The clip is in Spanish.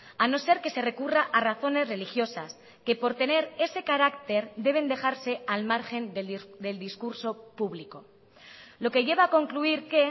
a no ser que se recurra a razones religiosas que por tener ese carácter deben dejarse al margen del discurso público lo que lleva a concluir que